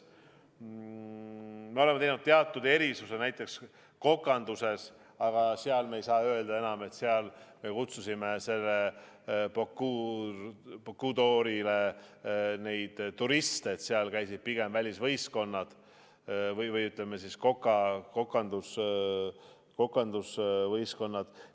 Me oleme teinud teatud erisuse näiteks kokanduses, aga me ei saa öelda, et me kutsusime Bocuse d'Orile turiste, seal käisid pigem välisvõistkonnad ehk kokandusvõistkonnad.